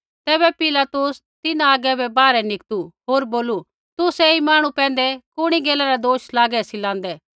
तैबै पिलातुस तिन्हां आगै बै बाहरै निकतु होर बोलू तुसै ऐई मांहणु पैंधै कुणी गैला रा दोष लागै सी लांदै